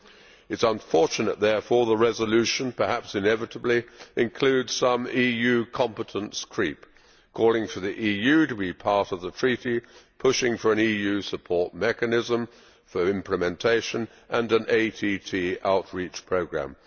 It is unfortunate, therefore, that the resolution perhaps inevitably includes some EU competence creep, calling for the EU to be part of the Treaty, pushing for an EU support mechanism, for implementation and an ATT outreach programme.